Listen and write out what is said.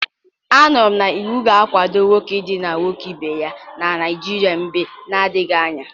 M nụrụ na iwu ga-akwado nwoke idina nwoke ibe ya na Naijiria mgbe na-adighi anya.